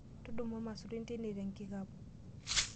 Tudumu irmaisurin tine te nkikapu.